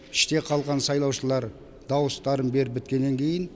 іште қалған сайлаушылар дауыстарын беріп біткеннен кейін